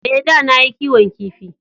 Ee, da na yi kiwon kifi.